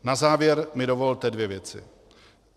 Na závěr mi dovolte dvě věci.